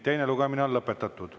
Teine lugemine on lõpetatud.